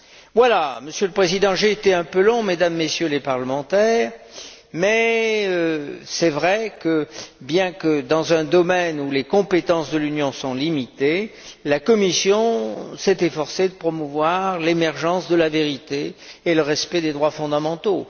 Voilà, Monsieur le Président, j'ai été un peu long, Mesdames et Messieurs les parlementaires, mais il est vrai que, bien qu'il s'agisse d'un domaine où les compétences de l'Union sont limitées, la Commission s'est efforcée de promouvoir l'émergence de la vérité et le respect des droits fondamentaux.